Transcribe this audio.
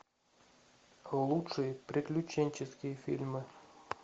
лучшие приключенческие фильмы